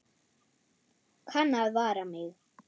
Kann að vara mig.